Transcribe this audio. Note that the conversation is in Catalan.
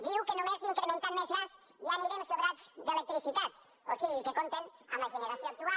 diu que només incrementant més gas ja anirem sobrats d’electricitat o sigui que compten amb la generació actual